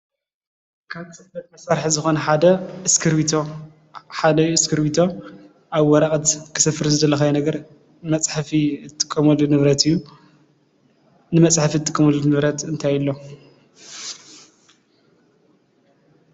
ፅሕፈት መሳርሒ ማለት ንግልጋሎት ፅሕፈት ዘገልግሉ መሳርሕታት እንትኾኑ ከም ቢሮ ፣ወረቀት ዝኣመሰሉ እዮም።